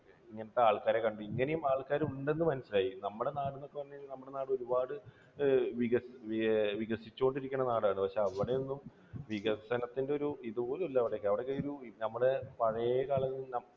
ഇങ്ങനത്തെ ആൾക്കാരെ കണ്ടു. ഇങ്ങനെയും ആൾക്കാർ ഉണ്ട് എന്ന് മനസ്സിലായി. നമ്മുടെ നാട്ടിൽ എന്ന് പറഞ്ഞു കഴിഞ്ഞാൽ, നമ്മുടെ നാട് ഒരുപാട് വികസിവികസിച്ചു വികസിച്ചുകൊണ്ടിരിക്കുന്ന നാടാണ് പക്ഷേ അവിടെയൊന്നും വികസനത്തിന് ഒരു ഇതുപോലും ഇല്ല അവിടെയൊക്കെ. അവിടെയൊക്കെ നമ്മുടെ പഴയ കാലങ്ങളിൽ